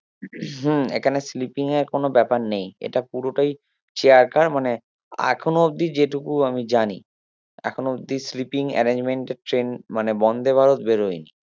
হম এখানে sleeping এর কোনো ব্যাপার নেই এটা পুরোটাই chair car মানে এখনো অব্দি যেটুকু আমি জানি এখনো অবদি sleeping arrangement এর ট্রেন মানে বন্দে ভারত বেরোয়নি